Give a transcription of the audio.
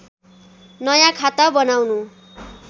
नयाँ खाता बनाउनु